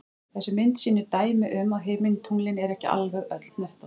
Þessi mynd sýnir dæmi um að himintunglin eru ekki alveg öll hnöttótt.